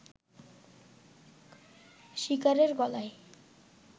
শিকারের গলায়